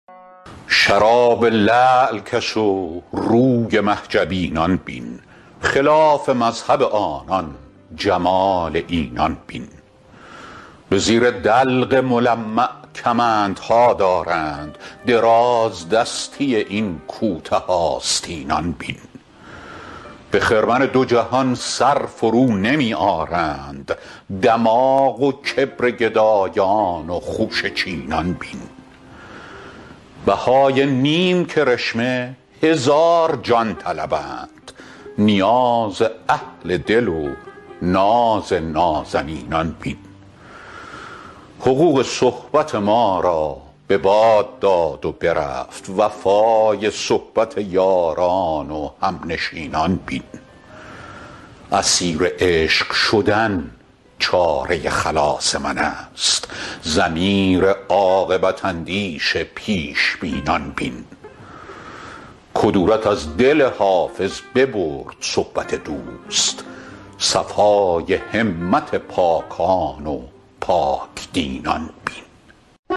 شراب لعل کش و روی مه جبینان بین خلاف مذهب آنان جمال اینان بین به زیر دلق ملمع کمندها دارند درازدستی این کوته آستینان بین به خرمن دو جهان سر فرونمی آرند دماغ و کبر گدایان و خوشه چینان بین بهای نیم کرشمه هزار جان طلبند نیاز اهل دل و ناز نازنینان بین حقوق صحبت ما را به باد داد و برفت وفای صحبت یاران و همنشینان بین اسیر عشق شدن چاره خلاص من است ضمیر عاقبت اندیش پیش بینان بین کدورت از دل حافظ ببرد صحبت دوست صفای همت پاکان و پاک دینان بین